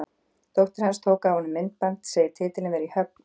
Dóttir hans tók af honum myndband þegar titillinn var í höfn og sendi okkur.